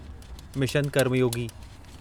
mission Karmayogi